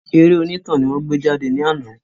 Eré onítàn ni wọ́n gbé jáde ní àná